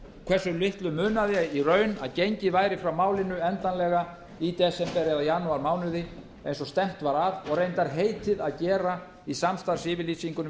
hversu litlu munaði í raun að gengið væri frá málinu endanlega í desember eða janúarmánuði eins og stefnt var að og reyndar heitið að gera í samstarfsyfirlýsingunni við